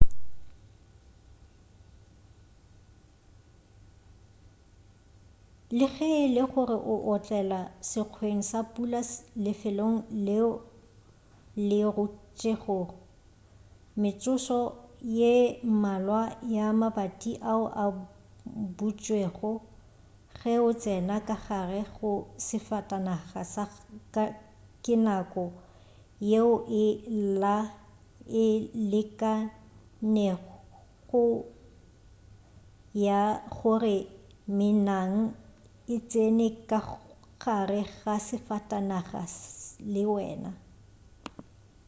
le ge e le gore o otlela sekgweng sa pula lefelong leo le rutšego metsotso ye mmalwa ka mabati ao a butšwego ge o tsena ka gare ga safatanaga ke nako yeo e lekanego ya gore menang e tsene ka gare ga safatanaga le wena